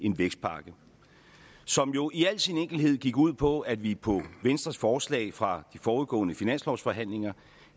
en vækstpakke som jo i al sin enkelhed gik ud på at vi på venstres forslag fra de forudgående finanslovsforhandlinger